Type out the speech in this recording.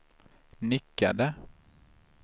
nickade